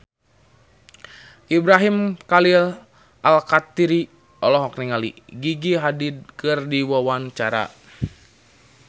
Ibrahim Khalil Alkatiri olohok ningali Gigi Hadid keur diwawancara